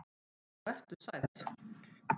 Og vertu sæll.